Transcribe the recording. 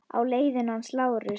Á leiðinu hans Lása?